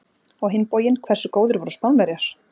Á hinn bóginn, hversu góðir voru Spánverjar!